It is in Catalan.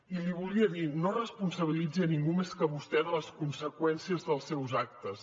i li volia dir no responsabilitzi ningú més que vostè de les conseqüències dels seus actes